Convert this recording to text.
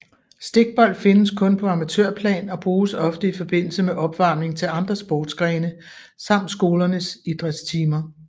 Stikbold findes kun på amatørplan og bruges ofte i forbindelse med opvarmning til andre sportsgrene samt skolernes idrætstimer